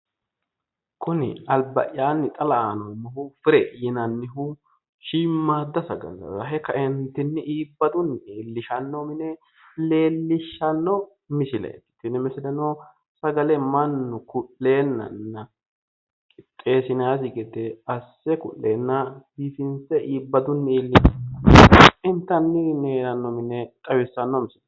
Kunni alba'yaanni xa la'anni noomohu fire yinnannihu shiimaadda sagale Rahe kaentinni iibadunni iilishano mine leelishano misileeti tinni misileno sagale Manu ku'leennanna qixeesinnayisi gede ase ku'leenna bifinse iilinsheena intanniri heerano xawissano misileeti.